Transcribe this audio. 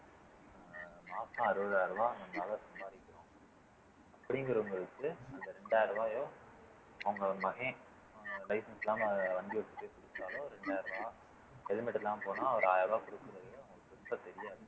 மாசம் அறுபதாயிரம் ரூபாய் சம்பாதிக்கிறோம் அப்படிங்கிறவங்களுக்கு அந்த இரண்டாயிரம் ரூபாயோ அவுங்க மகன் license இல்லாம வண்டி ஓட்டிட்டு helmet இல்லாம போனா ஒரு ஆயிரம் ரூபாய் தெரியாது